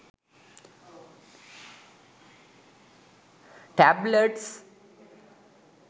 tablets